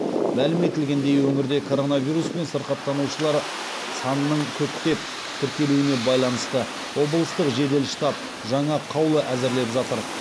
мәлім етілгендей өңірде коронавируспен сырқаттанушылар санының көптеп тіркелуіне байланысты облыстық жедел штаб жаңа қаулы әзірлеп жатыр